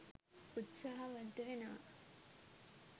උත්සාහවන්ත වෙනවා